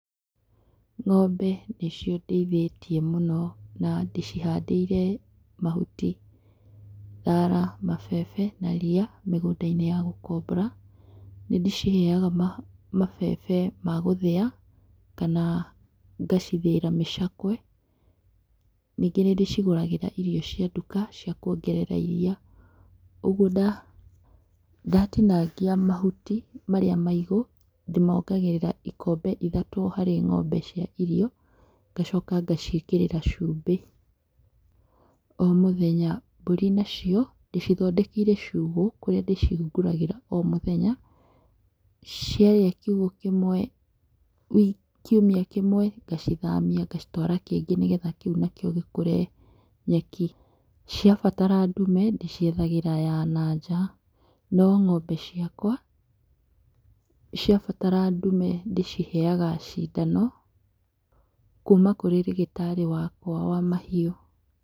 Ng'ombe nĩcio ndĩĩthĩtie mũno, na ndĩcihandĩire mahuti, thara, mabebe, na ria mĩgũnda-inĩ ya gũkobora, nĩ ndĩciheyaga ma mabebe magũthiya, kana ngacithĩĩra mĩcakwe, ningĩ nĩ ndĩcigũragĩra irio cia nduka cia kũongerera iria, ũguo nda, ndatinangia mahuti marĩa maigũ, ndĩmongagĩrĩra ikombe ithatũ harĩ ng'ombe cia irio, ngacoka ngaciĩkĩrĩra cumbĩ, o mũthenya, mbũri nacio ndĩcithondekeire ciugo, kũria ndĩcihingũragĩra o mũthenya ciaria kiugo kĩmwe wi kiũmia kĩmwe ngacithamia ngacitwara kĩngĩ nĩgetha kĩu nakĩo gĩkũre nyeki, ciabatara ndume, ndĩciethagĩra ya na nja, no ng'ombe ciakwa, cĩbatara ndume, ndĩciheyaga cindano kuma kũrĩ rĩgĩtari wakwa wa mahiũ.